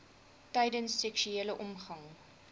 tydens seksuele omgang